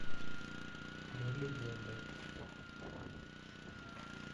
мы легенды